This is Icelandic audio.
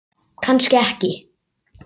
Kannski ekki.